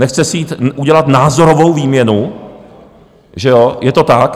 Nechce si jít udělat názorovou výměnu, že jo, je to tak.